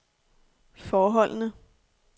forholdene